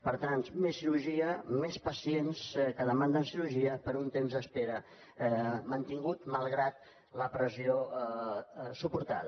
per tant més cirurgia més pacients que demanden cirurgia per a un temps d’espera mantingut malgrat la pressió suportada